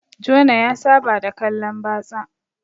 Jona ya Saba da kallan batsa